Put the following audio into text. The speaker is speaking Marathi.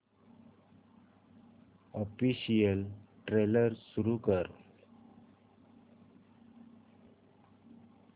ऑफिशियल ट्रेलर सुरू कर